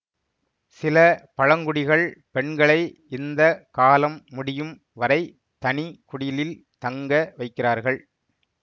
சில பழங்குடிகள் பெண்களை இந்த காலம் முடியும் வரை தனி குடிலில் தங்க வைக்கிறார்கள்